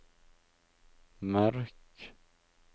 merk